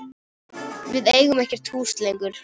Við eigum ekkert hús lengur.